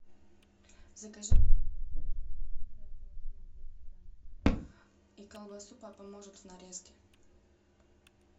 закажи и колбасу папа может в нарезке